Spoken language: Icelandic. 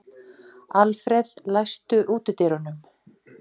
Alfred, læstu útidyrunum.